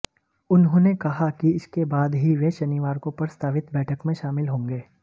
उन्होंने कहा कि इसके बाद ही वे शनिवार को प्रस्तावित बैठक में शामिल होंगे